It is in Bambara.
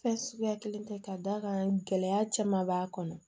Fɛn suguya kelen tɛ ka d'a kan gɛlɛya caman b'a kɔnɔ